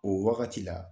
O wagati la